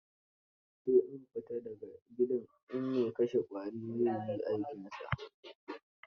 Sai an fita da ga gidan in mai kashe ƙwari zai yi aikinsa.